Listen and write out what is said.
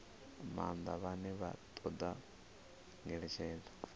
maanḓa vhane vha ṱoḓa ngeletshedzo